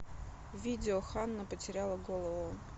видео ханна потеряла голову